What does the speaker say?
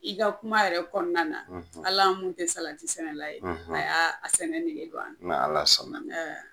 I ka kuma yɛrɛ kɔnɔna na, ali an mun tɛ salati tɛ sɛnɛ, a y'a sɛnɛli nege don ,n'ala sɔn na.